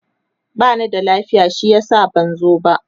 bani da lafiya shi yasa ban zo ba